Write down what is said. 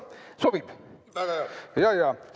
Kas sobib?